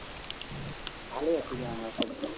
ভালে আছিলে আমাৰ স্বাস্থ্য